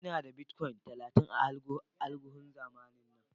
Ina da "Bitcoin" talatin a alguhun zamanin na.